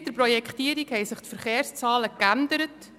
Seit der Projektierung haben sich die Verkehrszahlen geändert.